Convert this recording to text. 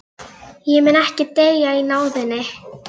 Ég mun ekki deyja í náðinni.